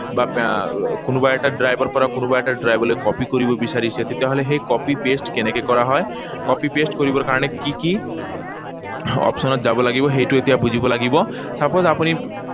বা আহ কোনোবা এটা drive ৰ পৰা কোনোবা এটা drive লৈ copy কৰিব বিচাৰিছে, তেতিয়াহলে সেই copy, paste কেনেকৈ কৰা হয়, copy, paste কৰিবৰ কাৰণে কি কি option ত যাব লাগিব সেইটো এতিয়া বুজিব লাগিব। Suppose আপুনি